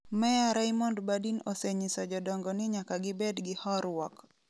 Meya Raymond Burdin osenyiso jodongo ni nyaka gibed gi horuok.